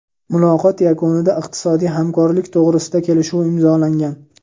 Muloqot yakunida iqtisodiy hamkorlik to‘g‘risidagi kelishuv imzolangan.